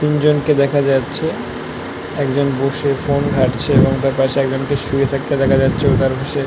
তিন জন কে দেখা যাচ্ছে একজন বসে ফোন ঘাটছে এবং তার পাশে একজন কে শুয়ে থাকতে দেখা যাচ্ছেএবং তার পাশে ।